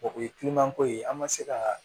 o ye ko ye an ma se ka